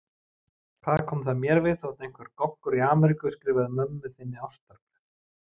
Hvað kom það mér við þótt einhver Goggur í Ameríku skrifaði mömmu þinni ástarbréf?